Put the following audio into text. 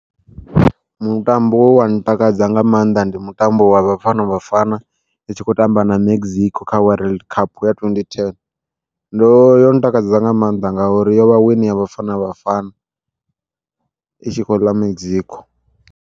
Mutambo we wa ntakadza nga maanḓa ndi mutambo wa Bafana Bafana itshi kho tamba na Mexico kha World Cup ya 2010, ndo yo ntakadza nga maanḓa ngauri yo vha wini ya Bafana Bafana i tshi khou ḽa Mexico.